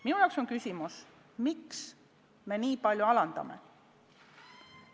Minu jaoks on küsimus, miks me nii palju aktsiisi alandame.